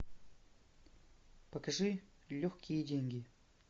покажи легкие деньги